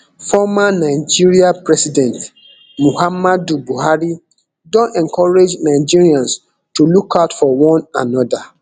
former nigeria president muhammadu buhari don encourage nigerians to look out for one anoda